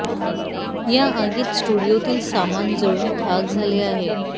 या आगीत स्टुडिओतील सामान जळून खाक झाले आहे